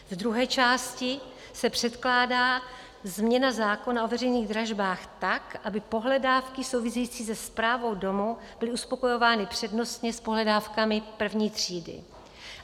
V druhé části se předkládá změna zákona o veřejných dražbách tak, aby pohledávky související se správou domu byly uspokojovány přednostně s pohledávkami první třídy.